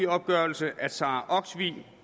opgørelse at sara olsvig